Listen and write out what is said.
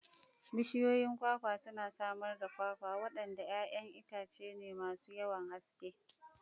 Bishiyoyin kwakwa suna samar da kwakwa, waɗanda 'ya'yan itace ne masu yawan gaske.